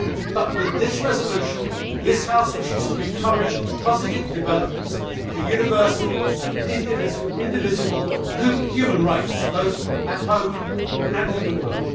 But, with this resolution, this House wishes to encourage positive developments for universal and indivisible human rights, both at home and in the world.